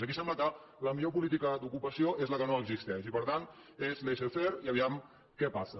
aquí sembla que la millor política d’ocupació és la que no existeix i per tant és laissez fairepassa